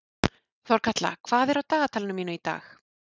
Þorkatla, hvað er á dagatalinu mínu í dag?